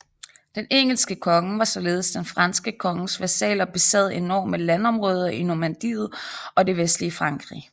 Den engelske konge var således den franske konges vasal og besad enorme landområder i Normandiet og det vestlige Frankrig